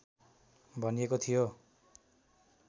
भनिएको थियो